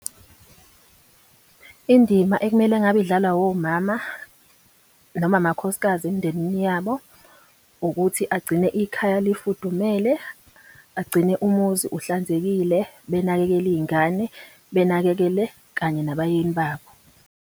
Indima ekumele ngabe idlalwa womama, noma amakhosikazi emindenini yabo ukuthi agcine ikhaya lifudumele, agcine umuzi uhlanzekile, benakekele iy'ngane, benakekele kanye nabayeni babo.